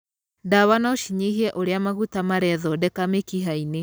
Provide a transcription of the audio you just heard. Ndawa no cinyihie ũrĩa maguta marethondeka mĩkiha-inĩ.